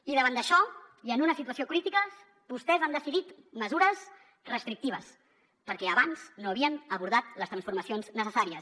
i davant d’això i en una situació critica vostès han decidit mesures restrictives perquè abans no havien abordat les transformacions necessàries